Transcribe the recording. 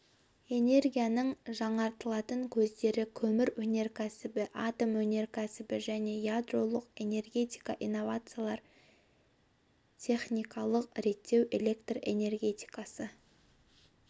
энергияның жаңартылатын көздері көмір өнеркәсібі атом өнеркәсібі және ядролық энергетика инновациялар техникалық реттеу электр энергетикасы